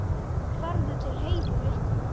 Farðu til Heiðu litlu.